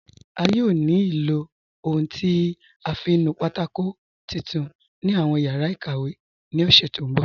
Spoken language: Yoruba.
A yóò ní ilọ ohun tí a fiń nù pátákò titun ni awọn yara ikàwé ni ọ̀ṣẹ ti nbọ̀.